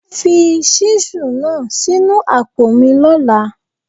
Fi ṣísù náà sínu àpò mi lọ́la.!